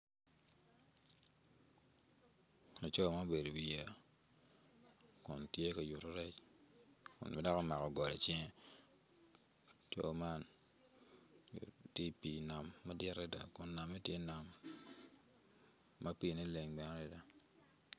Laco ma obedo i wiyeya kun tye ka yuto rec kun bedoki omako goli i cinge tye i pii nammadir adada kun piine leng adada.